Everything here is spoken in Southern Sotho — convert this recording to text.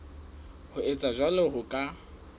ho etsa jwalo ho ka